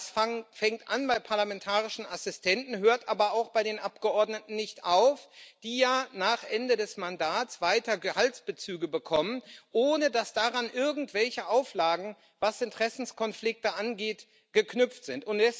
Das fängt an bei Parlamentarischen Assistenten, hört aber auch bei den Abgeordneten nicht auf, die ja nach Ende des Mandats weiter Gehaltsbezüge bekommen, ohne dass daran irgendwelche Auflagen, was Interessenkonflikte angeht, geknüpft sind.